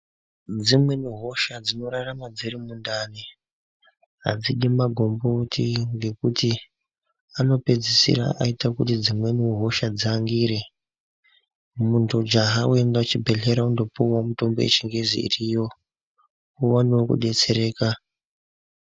Dzimweni hosha dzinorarama dziri mundani adzidi magomboti ngekuti anopedzisira aite kuti dzimweniwo hosha dziangire, muntu jaha weienda kuchibhedhleya undopuwe mitombo yechingezi iriyo uwanewo kudetsereka.